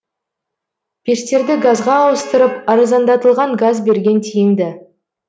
пештерді газға ауыстырып арзандатылған газ берген тиімді